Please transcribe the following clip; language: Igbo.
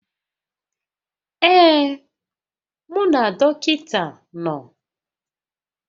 Ee, mụ na dọkịta nọ